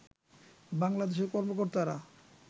বাংলাদেশের কর্মকর্তারা